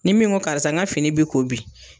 Ni min ko karisa ka fini bi ko bi